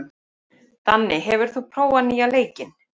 Danni, hefur þú prófað nýja leikinn?